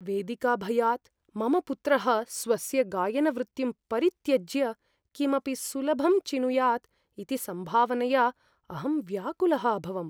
वेदिकाभयात् मम पुत्रः स्वस्य गायनवृत्तिं परित्यज्य किमपि सुलभं चिनुयात् इति सम्भावनया अहं व्याकुलः अभवम्।